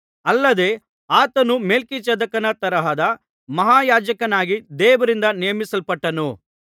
ಅಲ್ಲದೆ ಆತನು ಮೆಲ್ಕಿಜೆದೇಕನ ತರಹದ ಮಹಾಯಾಜಕನಾಗಿ ದೇವರಿಂದ ನೇಮಿಸಲ್ಪಟ್ಟನು